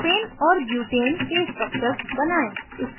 propane और butane के structures बनायें